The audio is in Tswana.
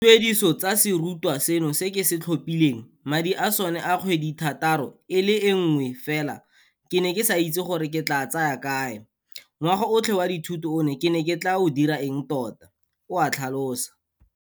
"Dituediso tsa serutwa seno se ke se tlhophileng, madi a sone a kgwedithataro e le nngwe fela ke ne ke sa itse gore ke tla a tsaya kae, ngwaga otlhe wa dithuto one ke ne ke tla o dira eng tota," o a tlhalosa.